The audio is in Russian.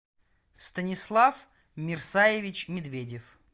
станислав мерсаевич медведев